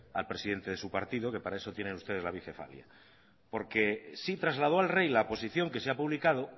al presidente de su partido que para eso tienen ustedes la bicefalia porque sí trasladó al rey la posición que se ha publicado